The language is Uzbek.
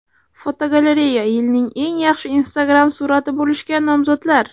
Fotogalereya: Yilning eng yaxshi Instagram surati bo‘lishga nomzodlar.